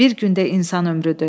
Bir gündə insan ömrüdür.